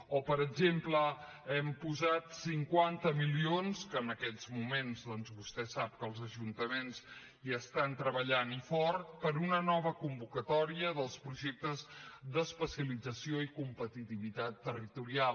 o per exemple hem posat cinquanta milions que en aquests moments doncs vostè sap que els ajuntaments hi estan treballant i fort per a una nova convocatòria dels projectes d’especialització i competitivitat territorial